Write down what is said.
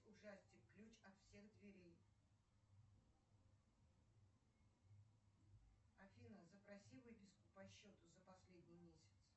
ужастик ключ от всех дверей афина запроси выписку по счету за последний месяц